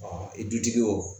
Ɔ i dutigi wo